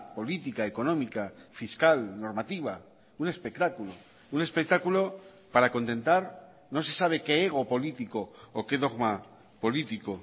política económica fiscal normativa un espectáculo un espectáculo para contentar no se sabe qué ego político o qué dogma político